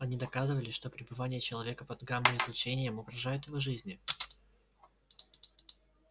они доказывали что пребывание человека под гамма излучением угрожает его жизни